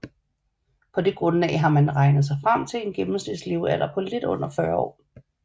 På det grundlag har man regnet sig frem til en gennemsnitslevealder på lidt under 40 år